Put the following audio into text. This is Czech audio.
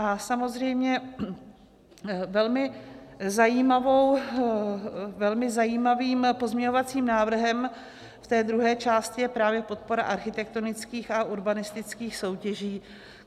A samozřejmě velmi zajímavým pozměňovacím návrhem v té druhé části je právě podpora architektonických a urbanistických soutěží.